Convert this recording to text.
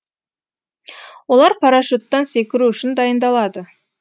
олар парашюттан секіру үшін дайындалады